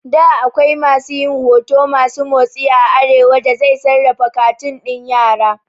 Da akwai masu yin huto masu motsi a arewa da zai sarrafa katun ɗin yara